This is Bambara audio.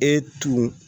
E tun